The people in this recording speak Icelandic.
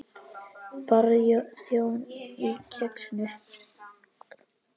Barþjónn á Kexinu?